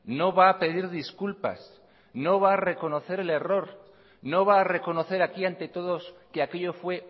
no va a pedir disculpas no va a reconocer el error no va a reconocer aquí ante todos que aquello fue